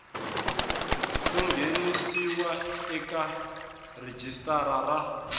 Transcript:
ku nghenisiwa eka rhijisitara ra